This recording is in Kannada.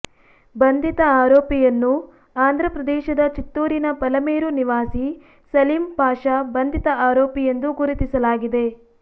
ಬಂಧಿತ ಆರೋಪಿಯನ್ನು ಆಂಧ್ರ ಪ್ರದೇಶದ ಚಿತ್ತೂರಿನ ಪಲಮೇರು ನಿವಾಸಿ ಸಲೀಂ ಪಾಷಾ ಬಂಧಿತ ಆರೋಪಿ ಎಂದು ಗುರುತಿಸಲಾಗಿದೆ